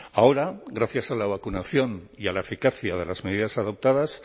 ahora gracias a la vacunación y a la eficacia de las medidas adoptadas